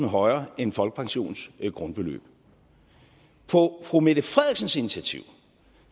højere end folkepensionens grundbeløb på fru mette frederiksens initiativ